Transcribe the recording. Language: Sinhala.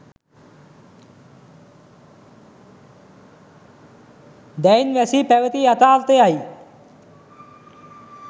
දැයින් වැසී පැවති යථාර්ථය යි